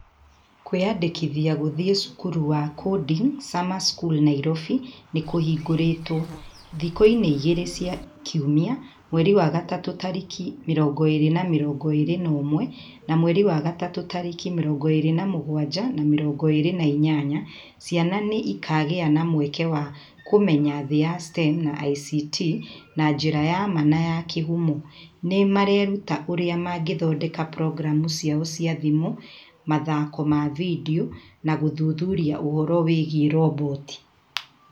"Kwĩandĩkithia gũthiĩ Cukuru wa Coding Summer School Nairobi nĩ kũhingũrĩtwo! Thikũ-inĩ igĩrĩ cia kiumia (March 20/21 na March 27/28), ciana nĩ ikagĩa na mweke wa kũmenya thĩ ya STEM na ICT na njĩra ya ma na ya kĩhumo! Nĩ mareruta ũrĩa mangĩthondeka programu ciao cia thimũ, mathako ma vidiũ, na gũthuthuria ũhoro wĩgiĩ roboti".